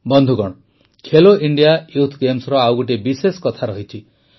ବନ୍ଧୁଗଣ Khelo India youth ଗେମ୍ସର ଆଉ ଗୋଟିଏ ବିଶେଷ କଥା ରହିଛି